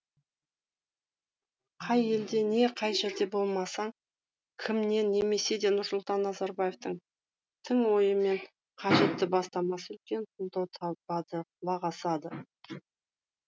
қай елде не қай жерде болмасын кіммен немесе де нұрсұлтан назарбаевтың тың ойы мен қажетті бастамасы үлкен қолдау табады құлақ асады